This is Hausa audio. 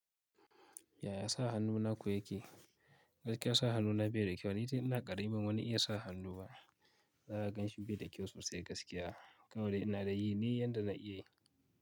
Yaya sa hannu na ku yake? Gaskiya sa hannu na bai da kyau. Ni tun ina ƙarami ban wani iya sa hannu ba. Zaka gan shi bai da kyau sosai gaskiya. Kawai dai ina dai yi ne, yanda zan iya yi.